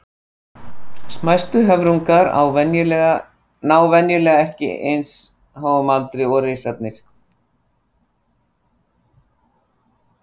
Smæstu höfrungar ná venjulega ekki eins háum aldri og risarnir.